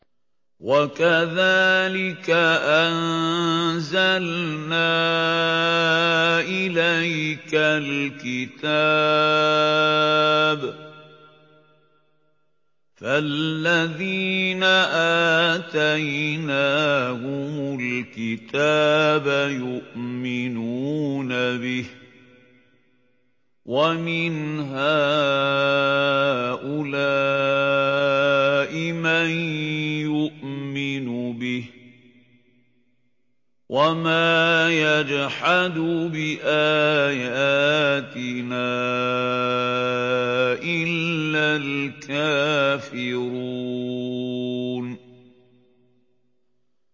وَكَذَٰلِكَ أَنزَلْنَا إِلَيْكَ الْكِتَابَ ۚ فَالَّذِينَ آتَيْنَاهُمُ الْكِتَابَ يُؤْمِنُونَ بِهِ ۖ وَمِنْ هَٰؤُلَاءِ مَن يُؤْمِنُ بِهِ ۚ وَمَا يَجْحَدُ بِآيَاتِنَا إِلَّا الْكَافِرُونَ